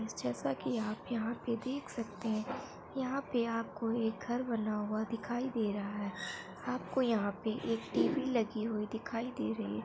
जैसा की आप यहाँ पे देख सकते हैं यहाँ पे आपको एक घर बना हुआ दिखाई दे रहा हैं आपको यहाँ पे एक टी_वी लगी हुई दिखाई दे रही हैं।